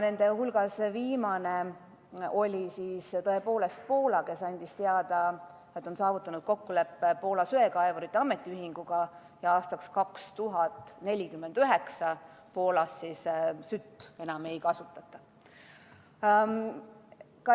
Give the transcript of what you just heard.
Nende hulgas viimane oli tõepoolest Poola, kes andis teada, et on saavutanud kokkuleppe Poola söekaevurite ametiühinguga ja aastaks 2049 Poolas sütt enam ei kasutata.